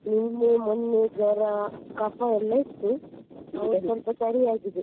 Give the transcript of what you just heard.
ನಿನ್ನೆ ಮೊನ್ನೆ ಜ್ವರ ಕಫ ಎಲ್ಲ ಇತ್ತು ಈಗ ಸ್ವಲ್ಪ ಸರಿ ಆಗಿದೆ.